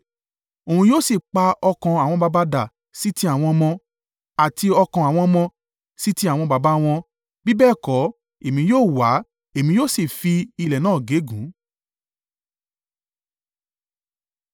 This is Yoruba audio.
Òun yóò sì pa ọkàn àwọn baba dà sí ti àwọn ọmọ, àti ọkàn àwọn ọmọ sì ti àwọn baba wọn, bí bẹ́ẹ̀ kọ́, èmi yóò wá, èmi yóò sì fi ilẹ̀ náà gégùn.”